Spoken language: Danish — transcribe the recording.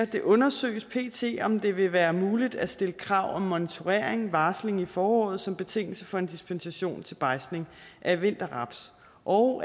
det undersøges pt om det vil være muligt at stille krav om moniteringvarsling i foråret som betingelse for en dispensation til bejdsning af vinterraps og